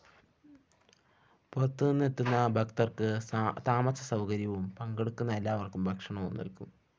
പുറത്തുനിന്ന് എത്തുന്ന ഭക്തര്‍ക്ക് താമസസൗകര്യവും പങ്കെടുക്കുന്ന എല്ലാവര്‍ക്കും ഭക്ഷണവും നല്‍കും